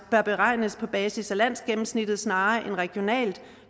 bør beregnes på basis af landsgennemsnittet snarere end regionalt